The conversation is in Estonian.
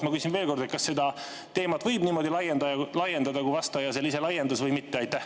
Ma küsin veel kord: kas seda teemat võib niimoodi laiendada, nagu vastaja ise seda laiendas, või mitte?